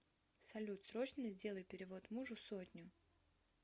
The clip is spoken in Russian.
салют срочно сделай перевод мужу сотню